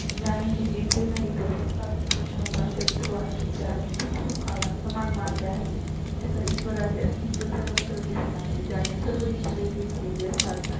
ज्या ने जिंकले नाही तो सत्ता स्वतः चा शत्रू आहे. जाने दुःख सुखा ला समान मानले आहेत त्याचा ईश्वरा चे अस्तित्व सर्वत्र दिसू लागली ज्या ने सर्व इंद्रिये जिंकले ली असतात